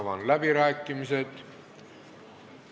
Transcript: Avan läbirääkimised.